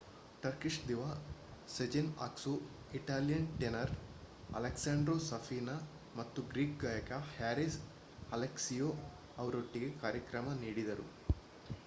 Turkish diva Sezen Aksu Italian tenor Alessandro Safina ಮತ್ತು Greek ಗಾಯಕ Haris Alexiou ಅವರೊಟ್ಟಿಗೆ ಕಾರ್ಯಕ್ರಮ ನೀಡಿದರು